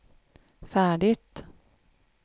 färdigt